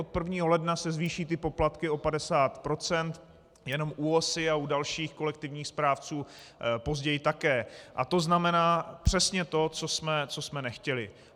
Od 1. ledna se zvýší ty poplatky o 50 % jenom u OSA a dalších kolektivních správců později také a to znamená přesně to, co jsme nechtěli.